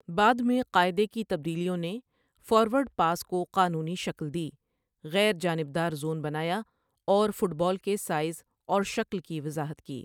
بعد میں قاعدے کی تبدیلیوں نے فارورڈ پاس کو قانونی شکل دی، غیر جانبدار زون بنایا اور فٹ بال کے سائز اور شکل کی وضاحت کی۔